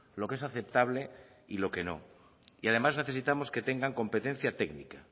lo que es aceptable y lo que no y además necesitamos que tengan competencia técnica